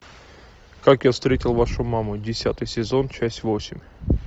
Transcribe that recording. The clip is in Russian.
как я встретил вашу маму десятый сезон часть восемь